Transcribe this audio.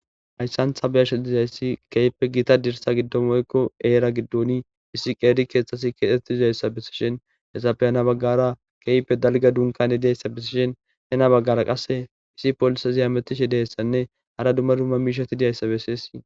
Hayssantha beyasha dizayssi keyppe gita dirsa giddo moykko eera giddoni issi qeeri keexxasi keexeti dizayssa besishen hessafe hena baggara keype dalga dunkane diyayssa besishen hena baggara qasse issi polisa ziyametishe deyssanne hara dumma dumma miishati diyayssa besesi.